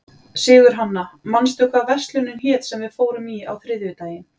Sigurhanna, manstu hvað verslunin hét sem við fórum í á þriðjudaginn?